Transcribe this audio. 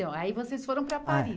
aí vocês foram para Paris.